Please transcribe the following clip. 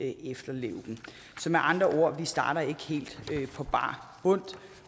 efterleve dem så med andre ord vi starter vi ikke helt på bar bund